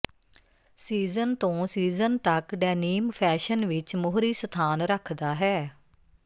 season ਤੋਂ season ਤਕ denim fashion ਵਿਚ ਮੋਹਰੀ ਸਥਾਨ ਰੱਖਦਾ ਹੈ